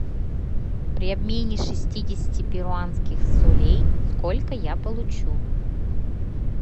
при обмене шестидесяти перуанских солей сколько я получу